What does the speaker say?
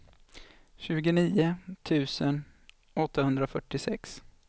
tjugonio tusen åttahundrafyrtiosex